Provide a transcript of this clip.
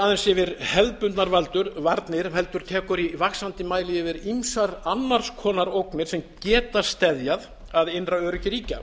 nær ekki aðeins til hefðbundnar varnir heldur tekur í vaxandi mæli yfir ýmsar annars konar ógnir sem geta steðjað að innra öryggi ríkja